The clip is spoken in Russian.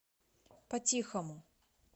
по тихому